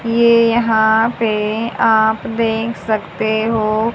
ये यहां पे आप देख सकते हो।